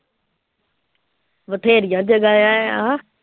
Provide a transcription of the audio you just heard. ਬਥੇਰੀਆਂ ਜਗ੍ਹਾਵਾਂ ਆਂ।